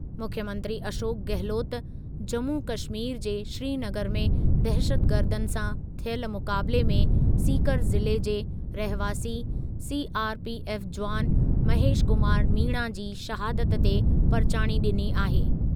मुख्यमंत्री अशोक गहलोत जम्मू कश्मीर जे श्रीनगर में दहशतगर्दनि सां थियल मुक़ाबिले में सीकर ज़िले जे रहवासी सीआरपीएफ जुवान महेश कुमार मीणा जी शहादत ते परिचाणी ॾिनी आहे ।